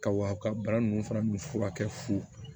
Ka wa bana ninnu fana furakɛ fu